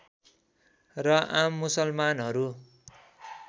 र आम मुसलमानहरू